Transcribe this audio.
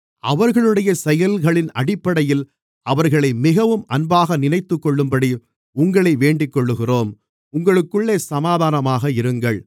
அவர்களுடைய செயல்களின் அடிப்படையில் அவர்களை மிகவும் அன்பாக நினைத்துக்கொள்ளும்படி உங்களை வேண்டிக்கொள்ளுகிறோம் உங்களுக்குள்ளே சமாதானமாக இருங்கள்